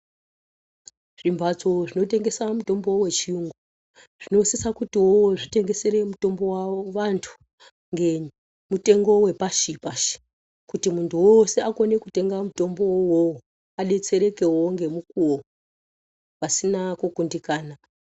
Zvi mbatso zvino tengesa mutombo we chiyungu zvinosisa kutiwo zvitengesere mutombo wawo vantu nge mutengo we pashi pashi kuti muntu wose akone kutenga mutombo wowo adetserekewo nge mukuwo pasina ku kundikana.